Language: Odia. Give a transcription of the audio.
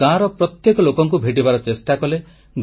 ସେମାନେ ଗାଁର ପ୍ରତ୍ୟେକ ଲୋକଙ୍କୁ ଭେଟିବାର ଚେଷ୍ଟା କଲେ